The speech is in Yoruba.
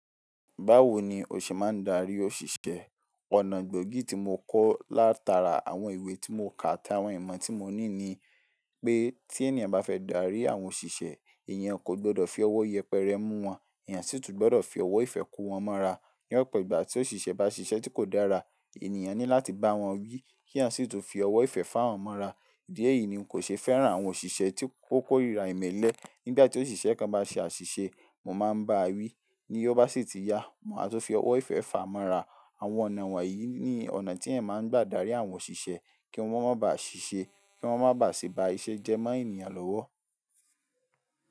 Báwo ni o ṣe máa ń darí òṣìṣẹ́? Ọ̀nà gbóògì tí mo kọ́ látara àwọn ìwé tí mo kà àti àwọn ìmọ̀ tí mo ní ni pé tí ènìyàn bá fẹ́ darí àwọn òṣìṣẹ́, èèyàn kò gbọdọ̀ fi ọwọ́ yẹpẹrẹ mú wọn, èèyàn sì tún gbọdọ̀ fi ọwọ́ ìfẹ́ kò wọ́n mọ́ra. Ní ọ̀pọ̀ ìgbà tí òṣìṣẹ́ bá ṣiṣẹ́ tí kò dára, ènìyàn ní láti bá wọn wí, kí èyàn sì tún fi ọwọ́ ìfẹ́ fá wọn mọ́ra. Ìdí èyí ni n kò ṣe fẹ́ràn àwọn òṣìṣẹ́ tí ò kóríra ìmẹ́lẹ́. Nígbà tí òṣìṣẹ́ kan bá ṣe àṣìṣe, mo máa ń bá a wí, ní ó bá sì ti ya, má tún fi ọwọ́ ìfẹ́ fàá mọ́ra. Àwọn ọ̀nà wọ̀nyí ni ọ̀nà tí èèyàn máa ń gbà darí àwọn òṣìṣẹ́ kí wọ́n máa ba à ṣiṣẹ́, kí wọ́n máa ba sì ba iṣẹ́ jẹ́ mọ́ ènìyàn lọ́wọ́.